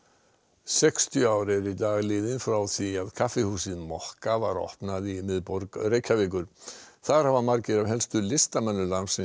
sextíu ár eru í dag liðin frá því að kaffihúsið mokka var opnað í miðborg Reykjavíkur þar hafa margir af helstu listamönnum landsins